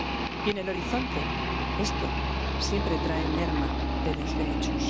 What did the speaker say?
Y, en el horizonte, esto siempre trae merma de los derechos.